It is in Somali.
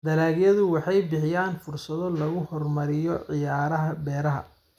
Dalagyadu waxay bixiyaan fursado lagu horumariyo ciyaaraha beeraha.